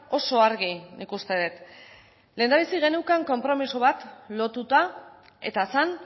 oso argi nik uste dut lehendabizi geneukan konpromiso bat lotuta eta zen